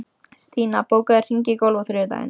Stína, bókaðu hring í golf á þriðjudaginn.